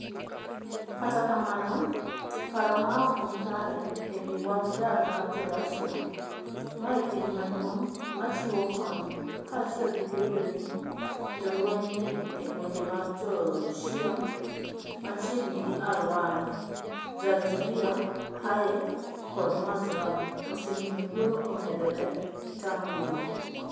Kata kamano, paro ma ok ni kare e wi wach dar mar Jo - Russia, ma e piny maduong ' machiwo kony, kaachiel gi bedo ni jolweny ni e gwenge mag Jo - Shia machiegni gi Al - Waer (Zarzuriya, Hayek, kod Mazraa) osemiyo luoro omedore e taondno.